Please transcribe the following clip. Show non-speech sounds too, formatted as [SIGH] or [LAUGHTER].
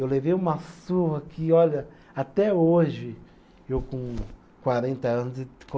Eu levei uma surra que, olha, até hoje, eu com quarenta anos, e [UNINTELLIGIBLE]